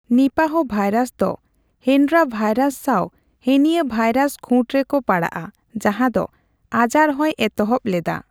ᱱᱤᱯᱟᱦᱚ virus ᱫᱚ Hendra virus ᱥᱟᱣ henipavirus ᱠᱷᱩᱸᱴ ᱨᱮᱠᱚ ᱯᱟᱲᱟᱜᱼᱟ, ᱡᱟᱦᱟᱸ ᱫᱚ ᱟᱡᱟᱨ ᱦᱚᱸᱭ ᱮᱛᱚᱦᱚᱵ ᱞᱮᱫᱟ ᱾